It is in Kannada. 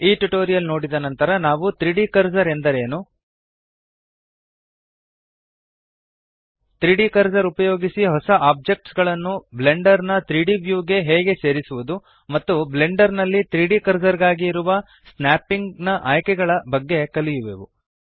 ಈ ಟ್ಯುಟೋರಿಯಲ್ ನೋಡಿದ ನಂತರ ನಾವು 3ದ್ ಕರ್ಸರ್ ಎಂದರೆ ಏನು 3ದ್ ಕರ್ಸರ್ ಉಪಯೋಗಿಸಿ ಹೊಸ ಒಬ್ಜೆಕ್ಟ್ಸ್ ಗಳನ್ನು ಬ್ಲೆಂಡರ್ ನ 3ದ್ ವ್ಯೂ ಗೆ ಹೇಗೆ ಸೇರಿಸುವದು ಮತ್ತು ಬ್ಲೆಂಡರ್ ನಲ್ಲಿ 3ದ್ ಕರ್ಸರ್ ಗಾಗಿ ಇರುವ ಸ್ನ್ಯಾಪಿಂಗ್ ನ ಆಯ್ಕೆಗಳ ಬಗ್ಗೆ ಕಲಿಯುವೆವು